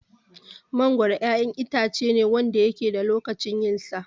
Mangoro 'yan itacene Wanda yake da lokacin yinsa